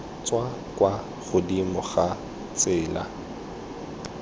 tswa kwa godimo ga tsela